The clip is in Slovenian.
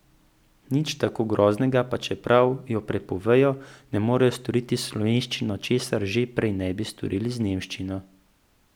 Nič tako groznega, pa čeprav jo prepovejo, ne morejo storiti s slovenščino, česar že ne bi prej storili z nemščino.